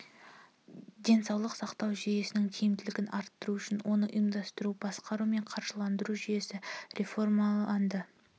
денсаулық сақтау жүйесінің тиімділігін арттыру үшін оны ұйымдастыру басқару мен қаржыландыру жүйесі реформаланды